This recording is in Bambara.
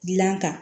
Dilan kan